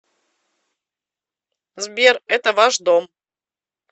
сбер это ваш дом